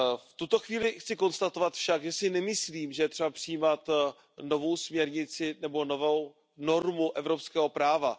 V tuto chvíli však chci konstatovat, že si nemyslím, že je třeba přijímat novou směrnici nebo novou normu evropského práva.